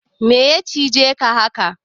Meya cije ka haka?